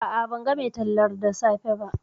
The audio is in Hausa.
A'a, ban ga mai tallar da safe ba